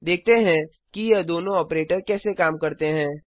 देखते हैं कि ये दोनों ऑपरेटर कैसे काम करते हैं